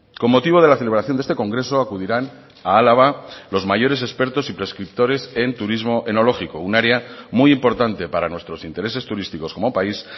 con motivo de la celebración de este congreso acudirán a álava los mayores expertos y prescriptores en turismo enológico un área muy importante para nuestros intereses turísticos como país